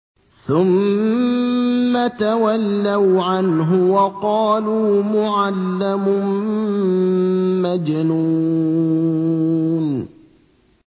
ثُمَّ تَوَلَّوْا عَنْهُ وَقَالُوا مُعَلَّمٌ مَّجْنُونٌ